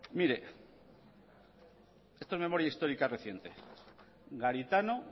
mire esto es memoria histórica reciente garitano